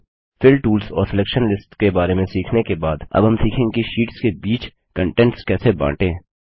fill tools और selection lists के बारे में सीखने के बाद अब हम सीखेंगे कि शीट्स के बीच कन्टेंट कैसे बांटें